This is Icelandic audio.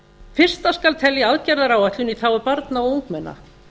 fyrsta skal telja aðgerðaráætlun í þágu barna og ungmenna